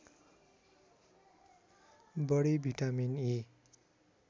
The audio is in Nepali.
बढी भिटामिन इ